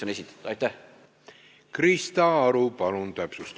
Krista Aru, palun täpsustav küsimus!